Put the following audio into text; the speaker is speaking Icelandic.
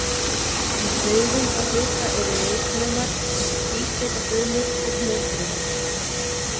Í taugungahluta eru ljósnemar, tvískautafrumur og hnoðfrumur.